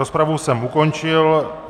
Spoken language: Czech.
Rozpravu jsem ukončil.